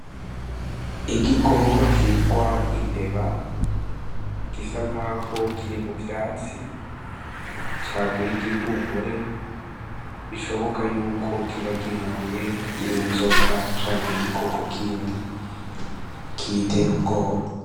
Igikoko citwa imbeba gisa nkaho kiri mu vyatsi caguy'igihumure bishoboka yuko coba gihuye n'inzoka cank'igikoko kindi kiyiter'ubwoba.